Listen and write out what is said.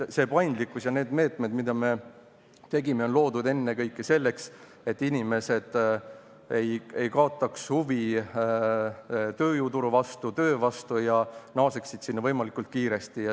See paindlikkus ja need meetmed, mida me tegime, on loodud ennekõike selleks, et inimesed ei kaotaks huvi tööjõuturu ega töö vastu ning naaseksid sinna võimalikult kiiresti.